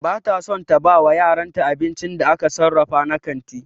Ba ta son ta bawa yaranta abincin da aka sarrafa na kanti.